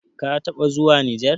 kataba zuwa nijar?